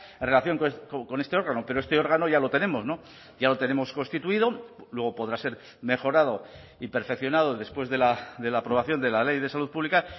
en relación con este órgano pero este órgano ya lo tenemos ya lo tenemos constituido luego podrá ser mejorado y perfeccionado después de la aprobación de la ley de salud pública